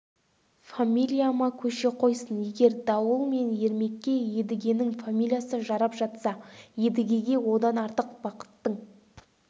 фамилияма көше қойсын егер дауыл мен ермекке едігенің фамилиясы жарап жатса едігеге одан артық бақыттың